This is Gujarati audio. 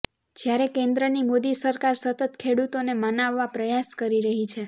જ્યારે કેન્દ્રની મોદી સરકાર સતત ખેડૂતોને મનાવવા પ્રયાસ કરી રહી છે